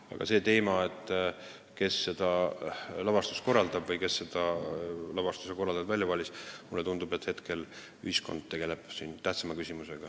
Aga see teema, kes selle lavastuse teeb, kes selle lavastaja välja valis – mulle tundub, et hetkel ühiskond tegeleb ikkagi tähtsama küsimusega.